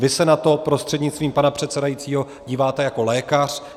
Vy se na to prostřednictvím pana předsedajícího díváte jako lékař.